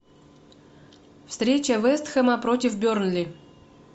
встреча вест хэма против бернли